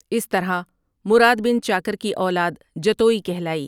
اس طرح مراد بن چاکر کی اولاد جتوئی کہلائی ۔